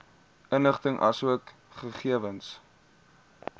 inligting asook gegewens